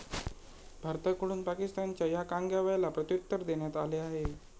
भारताकडून पाकिस्तानच्या या कांगाव्याला प्रत्युत्तर देण्यात आले आहे.